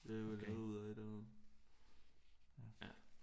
Det er vel lavet ud af et eller andet ja